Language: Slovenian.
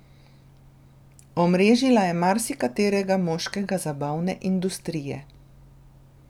Omrežila je marsikaterega moškega zabavne industrije.